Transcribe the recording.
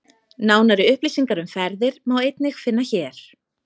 Nánari upplýsingar um ferðir má einnig finna hér.